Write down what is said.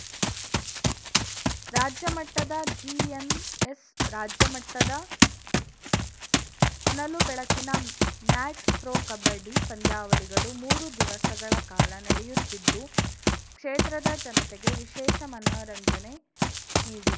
ರಾಜ್ಯ ಮಟ್ಟದ ಜಿಎಂಎಸ್‌ ರಾಜ್ಯಮಟ್ಟದ ಹೊನಲು ಬೆಳಕಿನ ಮ್ಯಾಟ್‌ ಪ್ರೋ ಕಬಡ್ಡಿ ಪಂದ್ಯಾವಳಿಗಳು ಮೂರು ದಿವಸಗಳ ಕಾಲ ನಡೆಯುತ್ತಿದ್ದು ಕ್ಷೇತ್ರದ ಜನತೆಗೆ ವಿಶೇಷ ಮನರಂಜನೆ ನೀಡಿವೆ